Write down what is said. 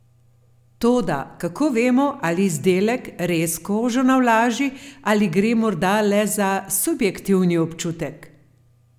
Toda kako vemo, ali izdelek res kožo navlaži ali gre morda le za subjektivni občutek?